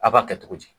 A b'a kɛ cogo di